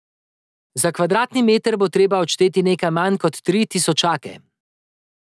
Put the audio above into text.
Za kvadratni meter bo treba odšteti nekaj manj kot tri tisočake.